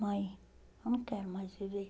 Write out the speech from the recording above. Mãe, eu não quero mais viver.